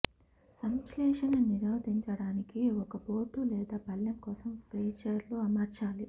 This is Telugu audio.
సంశ్లేషణ నిరోధించడానికి ఒక బోర్డు లేదా పళ్ళెం కోసం ఫ్రీజర్ లో అమర్చాలి